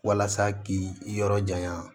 Walasa k'i yɔrɔ janya